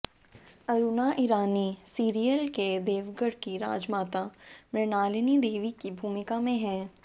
Aruna Irani serial के देवगढ़ की राजमाता मृणालिनी देवी की भूमिका में हैं